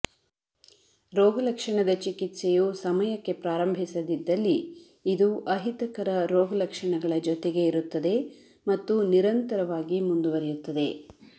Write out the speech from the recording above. ರೋಗಲಕ್ಷಣದ ಚಿಕಿತ್ಸೆಯು ಸಮಯಕ್ಕೆ ಪ್ರಾರಂಭಿಸದಿದ್ದಲ್ಲಿ ಇದು ಅಹಿತಕರ ರೋಗಲಕ್ಷಣಗಳ ಜೊತೆಗೆ ಇರುತ್ತದೆ ಮತ್ತು ನಿರಂತರವಾಗಿ ಮುಂದುವರಿಯುತ್ತದೆ